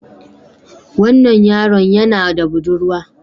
Wannan yaron yana da budurwa